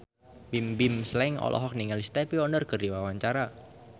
Bimbim Slank olohok ningali Stevie Wonder keur diwawancara